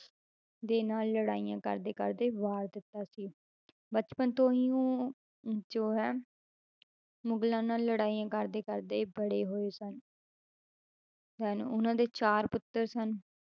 ਦੇ ਨਾਲ ਲੜਾਈਆਂ ਕਰਦੇ ਕਰਦੇ ਵਾਰ ਦਿੱਤਾ ਸੀ ਬਚਪਨ ਤੋਂ ਹੀ ਉਹ ਜੋ ਹੈ ਮੁਗਲਾਂ ਨਾਲ ਲੜਾਈਆਂ ਕਰਦੇ ਕਰਦੇ ਬੜੇ ਹੋਏ ਸਨ then ਉਹਨਾਂ ਦੇ ਚਾਰ ਪੁੱਤਰ ਸਨ,